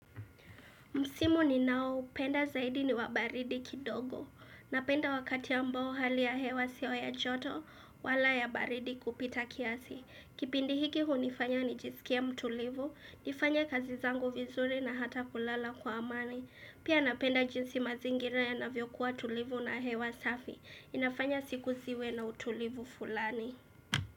Msimu ninaopenda zaidi ni wa baridi kidogo. Napenda wakati ambao hali ya hewa sio ya joto wala ya baridi kupita kiasi. Kipindi hiki hunifanya nijisikie mtulivu, nifanye kazi zangu vizuri na hata kulala kwa amani. Pia napenda jinsi mazingira yanavyokuwa tulivu na hewa safi. Inafanya siku ziwe na utulivu fulani.